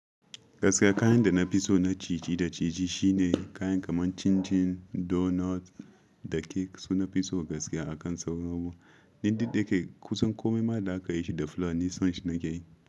Gaskiya kayan da na fi so na ciji da ciji shine kayan kamar chin chin, donut da cake su nafi so gaskiya akan sauran abubuwan. Duk dayake kusan komai ma da aka yi shi da flour nisan shi na ke yi.